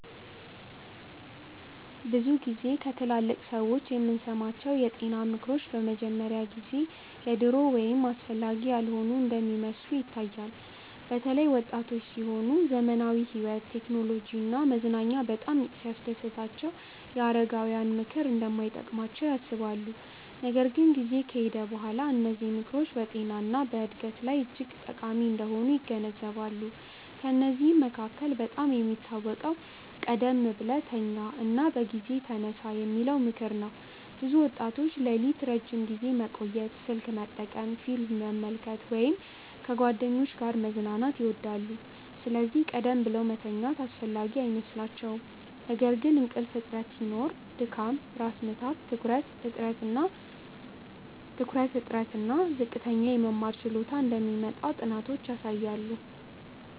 ብዙ ጊዜ ከትላልቅ ሰዎች የምንሰማቸው የጤና ምክሮች በመጀመሪያ ጊዜ የድሮ ወይም አስፈላጊ ያልሆኑ እንደሚመስሉ ይታያል። በተለይ ወጣቶች ሲሆኑ ዘመናዊ ሕይወት፣ ቴክኖሎጂ እና መዝናኛ በጣም ሲያስደስታቸው የአረጋውያን ምክር እንደማይጠቅም ያስባሉ። ነገር ግን ጊዜ ከሄደ በኋላ እነዚህ ምክሮች በጤና እና በዕድገት ላይ እጅግ ጠቃሚ እንደሆኑ ይገነዘባሉ። ከእነዚህ መካከል በጣም የሚታወቀው “ቀደም ብለህ ተኛ እና በጊዜ ተነሳ” የሚለው ምክር ነው። ብዙ ወጣቶች ሌሊት ረዥም ጊዜ መቆየት፣ ስልክ መጠቀም፣ ፊልም መመልከት ወይም ከጓደኞች ጋር መዝናናት ይወዳሉ፤ ስለዚህ ቀደም ብለው መተኛት አስፈላጊ አይመስላቸውም። ነገር ግን እንቅልፍ እጥረት ሲኖር ድካም፣ ራስ ምታት፣ ትኩረት እጥረት እና ዝቅተኛ የመማር ችሎታ እንደሚመጣ ጥናቶች ያሳያሉ